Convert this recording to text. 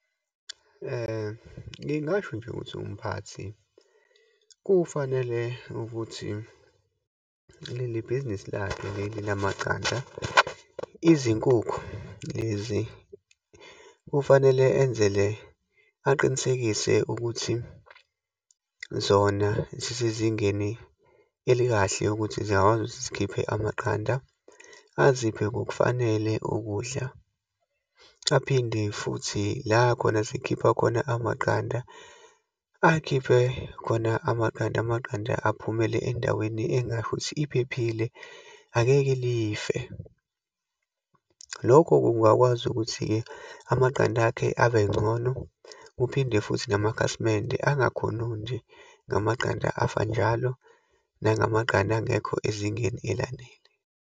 Ngingasho nje ukuthi umphathi kufanele ukuthi leli bhizinisi lakhe leli lamaqanda, izinkukhu lezi, kufanele enzele aqinisekise ukuthi zona zisezingeni elikahle yokuthi ziyakwazi ukuthi zikhiphe amaqanda, aziphe ngokufanele ukudla, aphinde futhi la khona zikhipha khona amaqanda akhiphe khona amaqanda, amaqanda aphumele endaweni engahwishi, iphephile, angeke life. Lokho kungakwazi ukuthi-ke, amaqanda akhe abe ngcono. Kuphinde futhi namakhasimende angakhonandi nje, ngamaqanda afa njalo, namaqanda angekho ezingeni elanele.